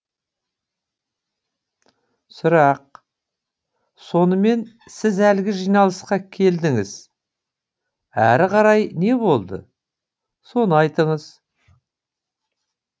сұрақ сонымен сіз әлгі жиналысқа келдіңіз әрі қарай не болды соны айтыңыз